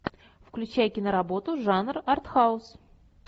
включай киноработу жанр артхаус